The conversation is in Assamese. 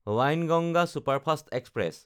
Wainganga superfast express